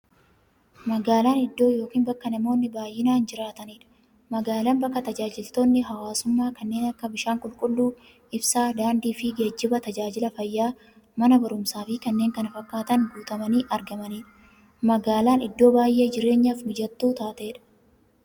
Magaalan iddoo yookiin bakka namoonni baay'inaan jiraataniidha. Magaalan bakka taajajilootni hawwaasummaa kanneen akka; bishaan qulqulluu, ibsaa, daandiifi geejjiba, taajajila fayyaa, Mana baruumsaafi kanneen kana fakkatan guutamanii argamaniidha. Magaalan iddoo baay'ee jireenyaf mijattuu taateedha.